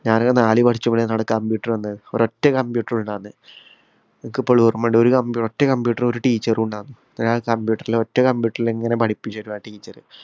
ഞാനൊക്കെ നാലില്‍ പഠിച്ചപ്പോഴാണ് അവിടെ computer വന്നേ. ഒരൊറ്റ computer ഉണ്ടാര്‍ന്നേ. എനിക്കിപ്പോളും ഓര്‍മ്മയുണ്ട് ഒരു compu ഒറ്റ computer ഉം, ഒരു teacher ഉം ഉണ്ടാരുന്നു. ഒറ്റ computer ലിങ്ങനെ പഠിപ്പിച്ചു തരും ആ teacher.